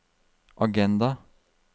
agenda